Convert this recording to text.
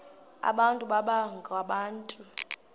abantu baba ngabantu